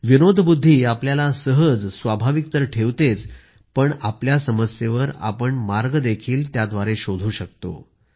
विनोद बुद्धी आपल्याला सहज स्वाभाविक तर ठेवतेच पण आपल्या समस्येवर आपण मार्ग देखील शोधू शकतो